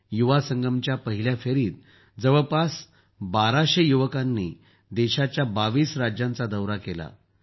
युवा संगमच्या पहिल्या फेरीत जवळपास १२०० युवकांनी देशाच्या २२ राज्यांचा दौरा केला आहे